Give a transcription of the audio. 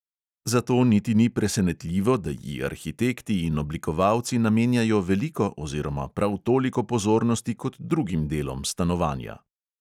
Zato niti ni presenetljivo, da ji arhitekti in oblikovalci namenjajo veliko oziroma prav toliko pozornosti kot drugim delom stanovanja.